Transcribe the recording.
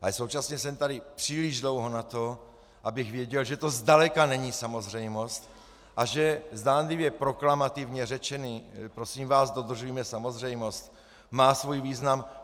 Ale současně jsem tady příliš dlouho na to, abych věděl, že to zdaleka není samozřejmost a že zdánlivě proklamativně řečené "prosím vás, dodržujme samozřejmost" má svůj význam.